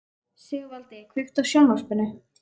Sigvaldi, kveiktu á sjónvarpinu.